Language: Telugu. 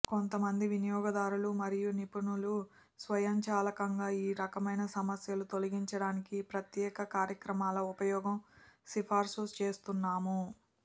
కొంతమంది వినియోగదారులు మరియు నిపుణులు స్వయంచాలకంగా ఈ రకమైన సమస్యలు తొలగించడానికి ప్రత్యేక కార్యక్రమాల ఉపయోగం సిఫార్సు చేస్తున్నాము